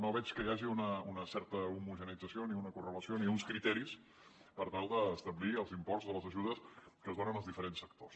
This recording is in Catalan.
no veig que hi hagi una certa homogeneïtzació ni una correlació ni uns criteris per tal d’establir els imports de les ajudes que es donen als diferents sectors